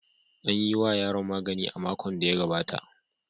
An yi wa yaron magani a makon da ya gabata.